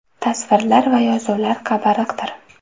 Tasvirlar va yozuvlar qabariqdir.